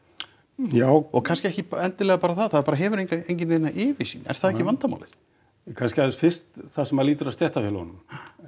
já og kannski ekki endilega bara það það bara hefur enginn neina yfirsýn er það ekki vandamálið kannski aðeins fyrst það sem lýtur að stéttarfélögunum